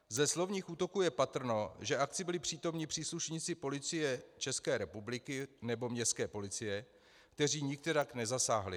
Ze slovních útoků je patrno, že akci byli přítomni příslušníci Policie České republiky nebo městské policie, kteří nikterak nezasáhli.